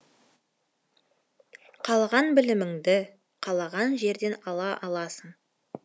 қалаған біліміңді қалаған жерден ала аласың